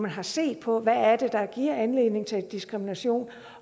har set på hvad det er der giver anledning til diskrimination